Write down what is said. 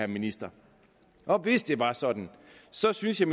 ministeren og hvis det var sådan så synes jeg